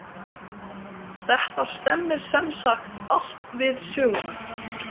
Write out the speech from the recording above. Þetta stemmir sem sagt allt við söguna.